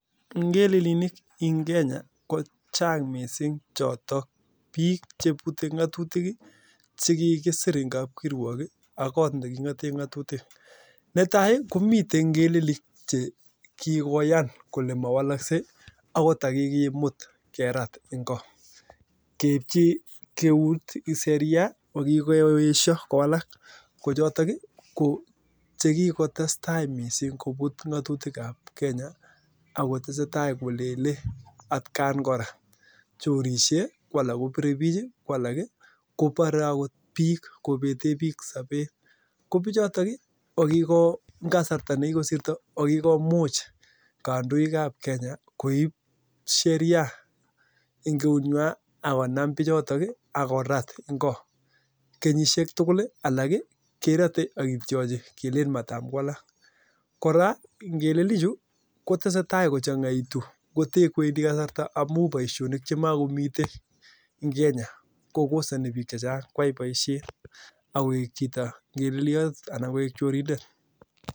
Ngelelinik en Kenya ko chang' missing choton, biik chebute ng'atutik ii chekikisir en kabkirwog ii ak koot neging'oten ng'atutik, netai komiten ng'elelik che kigoyan kole mowoloksei agot ndakigimut kerat en ng'o, keibchi eut seria ko kikoesyo kowalak, ko choton ii ko chekikotestai missing kobut ng'atutik ab Kenya ak kotesetai kolele atgan kora, chorse, kwalak kobire biik ii, kwalak kobore agot biik kobeten biik sobet, ko biik choton ii ko kigo en kasarta nekikosirto kokikomuch kandoik ab Kenya koib seria en ngeunwan ak konam bichotok ii ak korat en ng'o kenyisiek tugul ii alak kerote ak kityochi kelelen marakowalak, kora ngelelichu kotesetai kochang'aitu koten kwendi kasarta amun boisionik chemogomiten en Kenya kokosoni biik chechang' koyai boisiet ak koik chito ngeleliot anan koik chorindet.